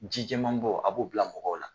Jijɛmanbɔ a b'o bila mɔgɔw la